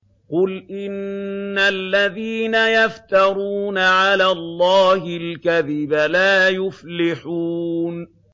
قُلْ إِنَّ الَّذِينَ يَفْتَرُونَ عَلَى اللَّهِ الْكَذِبَ لَا يُفْلِحُونَ